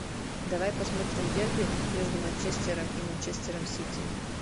давай посмотрим дерби между манчестером и манчестером сити